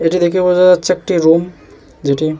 এটা দেখে বোঝা যাচ্ছে একটি রুম যেটি--